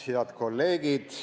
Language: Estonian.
Head kolleegid!